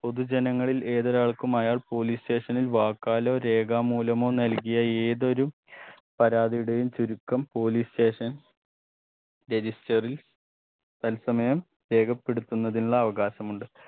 പൊതുജനങ്ങളിൽ ഏതൊരാൾക്കും അയാൾ police station ൽ വാക്കാലോ രേഖാമൂലമോ നൽകിയ ഏതൊരു പരാധിയുടെയും ചുരുക്കം police station register ൽ തത്സമയം രേഖപ്പെടുത്തുന്നതിനുള്ള അവകാശമുണ്ട്